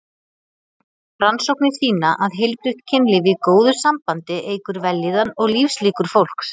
Rannsóknir sýna að heilbrigt kynlíf í góðu sambandi eykur vellíðan og lífslíkur fólks.